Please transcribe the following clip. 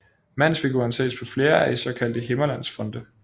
Mandsfiguren ses på flere af de såkaldte Himmerlandsfonte